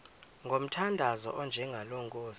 ngomthandazo onjengalo nkosi